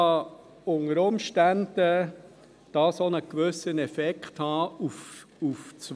Natürlich kann dies unter Umständen einen gewissen Effekt auf das Wo haben.